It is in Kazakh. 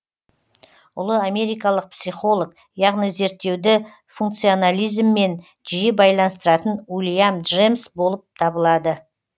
ұлы америкалық психолог яғни зерттеуді функционализммен жиі байланыстыратын уильям джемс болып табылады